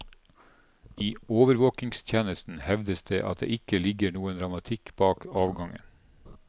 I overvåkingstjenesten hevdes det at det ikke ligger noe dramatikk bak avgangen.